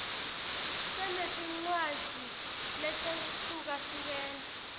sinetincwadzi letehlukahlukene